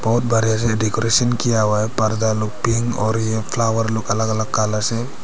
और बड़े से डेकोरेशन किया हुआ है पर्दा लोग भी है और ये फ्लावर लोग अलग अलग कलर से--